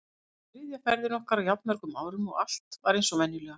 Þetta var þriðja ferðin okkar á jafn mörgum árum og allt var eins og venjulega.